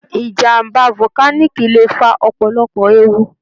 Ìjàm̀bá volcanic lè fa ọ̀pọ̀lọpọ̀ ewu.